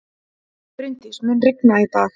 Bryndís, mun rigna í dag?